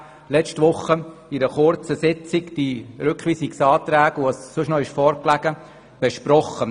Letzte Woche haben wir aber die Rückweisungsanträge und was sonst noch vorlag kurz besprochen.